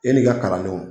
E n'i ka kalandenw